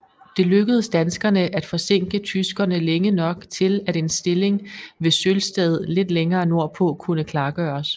Det lykkedes danskerne at forsinke tyskerne længe nok til at en stilling ved Sølsted lidt længere nordpå kunne klargøres